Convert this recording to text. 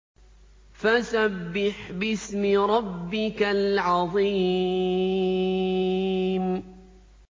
فَسَبِّحْ بِاسْمِ رَبِّكَ الْعَظِيمِ